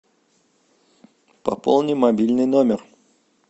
пополни мобильный номер